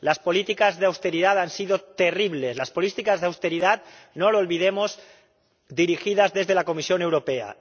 Las políticas de austeridad han sido terribles, políticas de austeridad —no lo olvidemos— dirigidas desde la Comisión Europea.